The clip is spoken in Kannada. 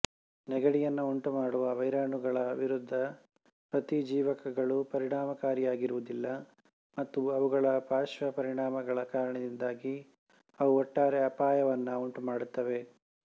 ನೆಗಡಿಯನ್ನು ಉಂಟುಮಾಡುವ ವೈರಾಣುಗಳ ವಿರುದ್ಧ ಪ್ರತಿಜೀವಕಗಳು ಪರಿಣಾಮಕಾರಿಯಾಗಿರುವುದಿಲ್ಲ ಮತ್ತು ಅವುಗಳ ಪಾರ್ಶ್ವ ಪರಿಣಾಮಗಳ ಕಾರಣದಿಂದಾಗಿ ಅವು ಒಟ್ಟಾರೆ ಅಪಾಯವನ್ನು ಉಂಟುಮಾಡುತ್ತವೆ